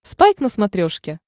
спайк на смотрешке